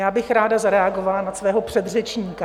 Já bych ráda zareagovala na svého předřečníka.